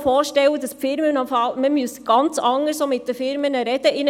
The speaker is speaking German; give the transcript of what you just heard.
Ich hoffe, dass Sie nun mit diesen Firmen sprechen.